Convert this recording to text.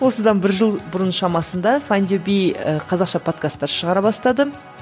осыдан бір жыл бұрын шамасында файндюби і қазақша подкасттар шығара бастады